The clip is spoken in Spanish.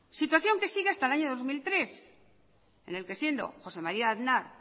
situación que sigue hasta el año dos mil tres en el que siendo jose maría aznar